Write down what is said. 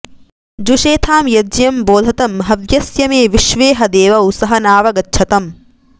जुषेथां यज्ञं बोधतं हवस्य मे विश्वेह देवौ सवनाव गच्छतम्